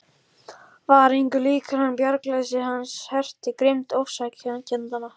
Var engu líkara en bjargarleysi hans herti á grimmd ofsækjendanna.